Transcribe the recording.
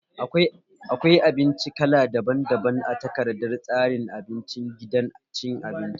Akwai abinci kala daban daban a takardar tsarin abincin gidan cin abinci